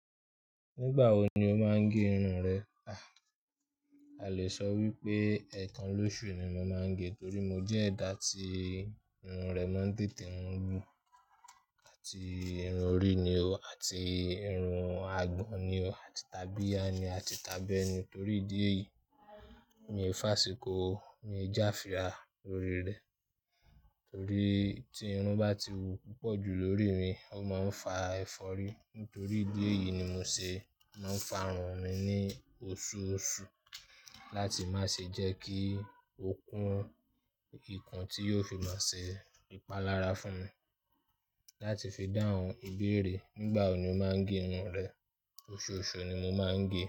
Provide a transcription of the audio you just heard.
Nígbà wo ni o máa ń gé irun rẹ? A lè sọ wípé ẹ̀ẹ̀kan lóṣù ni mo máa ń gé, torí mo jẹ́ ẹ̀dá tí irun rẹ máa ń tètè n wú àti irun orí ni o àti irun àgbọn ni o àti tàbíya ni o àti tàbẹ ni. Torí ìdí èyí, mi ò fàsíkò o. Mi ò já fìrà lórí rẹ, torí tí irun bá ti wù púpọ̀ jù lórí mi, ó máa ń fa ẹ̀fọ́rí. Nítorí ìdí èyí ni mo ṣe máa ń fa irun mi ní oṣooṣù láti má ṣe jẹ́ kí ó kún ikùn tí yóò fi máa ṣe ìpalára fún mi. Láti fi dáhùn ìbéèrè nígbà wo ni o máa ń gé irun rẹ? Oṣooṣù ni mo máa ń gé.